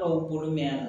Dɔw bolo mɛ yan